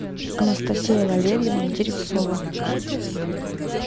анастасия валерьевна деревцова